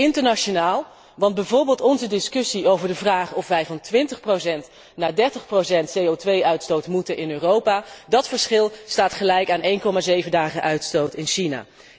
Internationaal, want bijvoorbeeld onze discussie over de vraag of wij van 20 naar 30 CO 2 uitstoot moeten in Europa, dat verschil staat gelijk aan 1,7 dagen uitstoot in China.